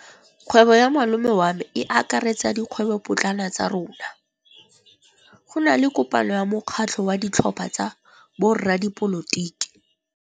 Kgwêbô ya malome wa me e akaretsa dikgwêbôpotlana tsa rona. Go na le kopanô ya mokgatlhô wa ditlhopha tsa boradipolotiki.